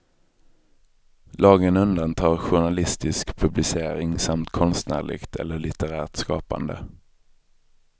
Lagen undantar journalistisk publicering samt konstnärligt eller litterärt skapande.